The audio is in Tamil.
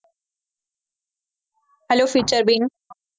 hello